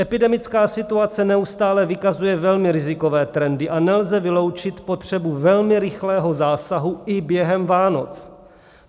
Epidemická situace neustále vykazuje velmi rizikové trendy a nelze vyloučit potřebu velmi rychlého zásahu i během Vánoc.